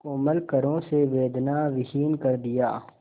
कोमल करों से वेदनाविहीन कर दिया